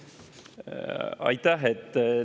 Aitäh!